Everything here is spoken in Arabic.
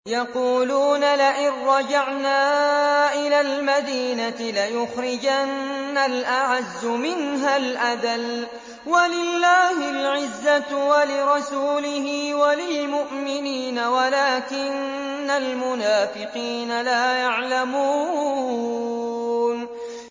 يَقُولُونَ لَئِن رَّجَعْنَا إِلَى الْمَدِينَةِ لَيُخْرِجَنَّ الْأَعَزُّ مِنْهَا الْأَذَلَّ ۚ وَلِلَّهِ الْعِزَّةُ وَلِرَسُولِهِ وَلِلْمُؤْمِنِينَ وَلَٰكِنَّ الْمُنَافِقِينَ لَا يَعْلَمُونَ